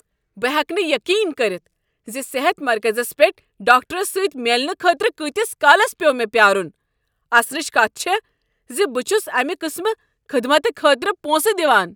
بہٕ ہیٚکہٕ نہٕ یقین کٔرتھ ز صحت مرکزس پٮ۪ٹھ ڈاکٹرس سۭتۍ میلنہٕ خٲطرٕ کۭتس کالس پیوٚو مےٚ پیٛارن! اسنچ کتھ چھےٚ ز بہٕ چھس امہ قٕسمہٕ کہ خٔدمتہ خٲطرٕ پونٛسہٕ دوان۔ "